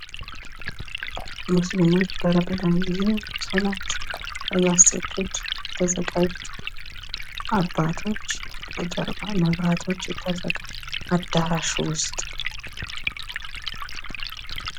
ሙስሊሞች በረመዳን ጊዜ ሶላት ለማሰገድ እየተዘጋጁ አባቶች ከጀርባ መብራቶች ተዘጋጅተው አዳራሹ ውስጥ ።